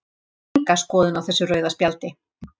Ég hef enga skoðun á þessu rauða spjaldi.